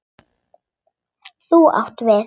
Þú átt við.